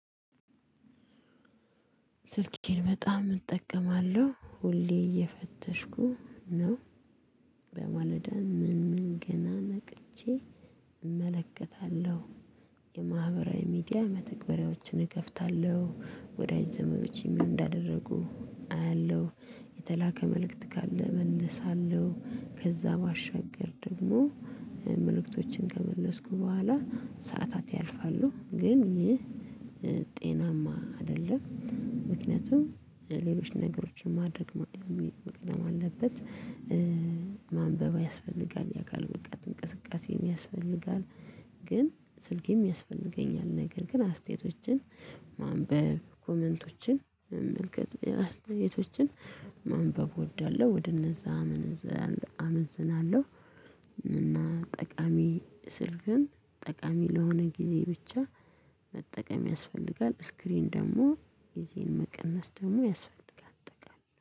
ስልኬን በጣም እጠቀማለሁ ሁሌ እየፈተሽኩ ነው በማለዳ ምን ምን ገና ነቅቼ እመለከታለሁ። ሚዲያ መተግበሪያዎችን እከፍታለሁ ወዳጅ ዘመዶቼ ምን እንዳደረጉ የተላከ መልእክት ካለ እመልሳለሁ። ከዛ ባሻገር ደግሞ መልእክቶችን ከመለስኩ በኋላ ሰዓታት ያልፋሉ። ግን ይህ ጤናማ አይደለም። ምክንያቱም ሌሎች ነገሮችን ማድረግ ማቅደም አለበት። ማንበብ ያስፈልጋል ያካል በቃ እንቅስቃሴም ያስፈልጋል። ግን ስልኬም ያስፈልገኛል ነገር ግን አስተያየቶችን ማንበብ ኮመንቶችን መመልከት አስተያየቶችን ማንበብ እወዳለሁ። ወደ እነዛ አመንዝናለሁ። እና ጠቃሚ ስልክም ጠቃሚ ለሆነ ጊዜ ብቻ መጠቀም ያስፈልጋል። ስክሪን ደግሞ ይሄን መቀነስ ደግሞ ያስፈልጋል አጠቃላይ